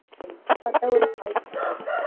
பாத்தா ஒரு hi அவ்வளவு தான்.